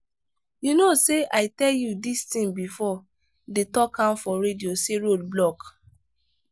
you know say i tell you dis thing before dey talk am for radio say road block.